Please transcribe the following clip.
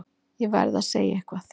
Ég verð að segja eitthvað.